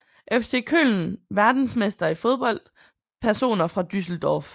FC Köln Verdensmestre i fodbold Personer fra Düsseldorf